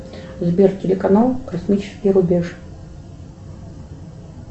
сбер телеканал космический рубеж